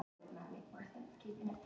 Hef fulla trú á honum núna.